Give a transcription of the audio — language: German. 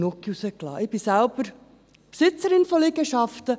Ich bin Besitzerin von Liegenschaften.